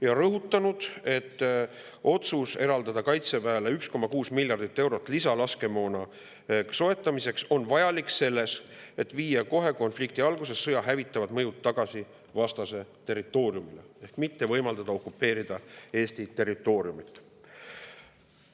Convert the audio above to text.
Ta on rõhutanud, et otsus eraldada Kaitseväele 1,6 miljardit eurot lisalaskemoona soetamiseks on vajalik selleks, et viia kohe konflikti alguses sõja hävitavad mõjud tagasi vastase territooriumile ehk mitte võimaldada okupeerida Eesti territooriumit.